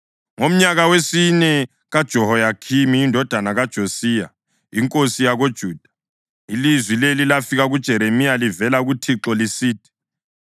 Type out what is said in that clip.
Ngomnyaka wesine kaJehoyakhimi indodana kaJosiya inkosi yakoJuda ilizwi leli lafika kuJeremiya livela kuThixo, lisithi: